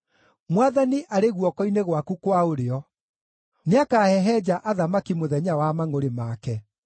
Mwathani arĩ guoko-inĩ gwaku kwa ũrĩo; nĩakahehenja athamaki mũthenya wa mangʼũrĩ make.